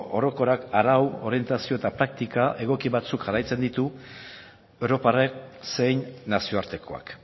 orokorrak arau orientazio eta praktika egoki batzuk jarraitzen ditu europarrek zein nazio artekoak